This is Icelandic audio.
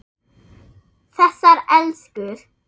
Þessar elskur.